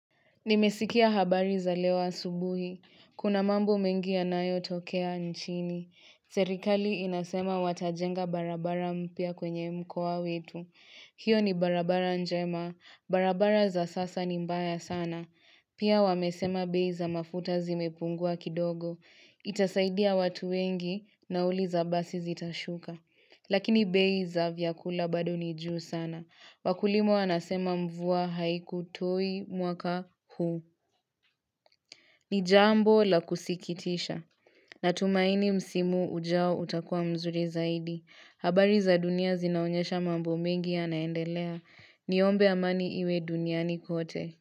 Nimesikia habari za lewa asubuhi. Kuna mambo mengi yanayo tokea nchini. Serikali inasema watajenga barabara mpya kwenye mkoa wetu. Hiyo ni barabara njema. Barabara za sasa ni mbaya sana. Pia wamesema bei za mafuta zimepungua kidogo. Itasaidia watu wengi naurl za basi zitashuka. Lakini bei za vyakula bado ni juu sana. Wakulima wanasema mvua haikutoi mwaka huu. Ni jambo la kusikitisha. Natumaini msimu ujao utakua mzuri zaidi. Habari za dunia zinaonyesha mambo mengi yanaendelea. Niombe amani iwe duniani kote.